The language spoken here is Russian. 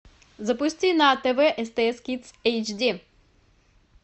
запусти на тв стс кидс эйч ди